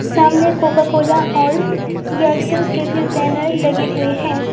सामने Coca Cola और Aircel के भी बैनर लगे हुए हैं।